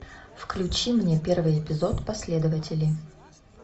включи мне первый эпизод последователи